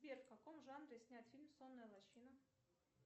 сбер в каком жанре снят фильм сонная лощина